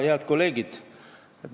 Head kolleegid!